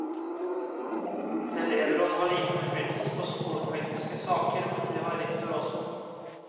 Et elevråd har liten innflytelse på skolepolitiske saker, men det har rektor også.